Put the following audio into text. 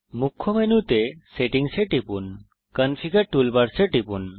মুখ্য মেনুতে সেটিংস এ টিপুন কনফিগার টুলবার্স এ টিপুন